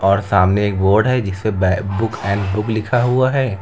और सामने एक बोर्ड है जिससे बुक एंड बुक लिखा हुआ है।